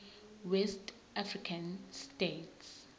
west african states